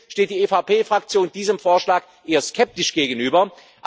Und deswegen steht die EVP Fraktion diesem Vorschlag eher skeptisch gegenüber.